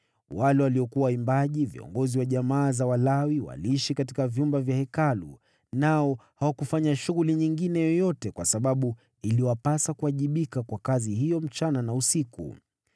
Wale waliokuwa waimbaji, viongozi wa jamaa za Walawi, waliishi katika vyumba vya Hekalu, nao hawakufanya shughuli nyingine yoyote kwa sababu iliwapasa kuwajibika kwa kazi hiyo usiku na mchana.